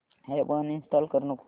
app uninstall करू नको